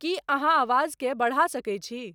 की अहाँआवाज़ के बढ़ा सके छी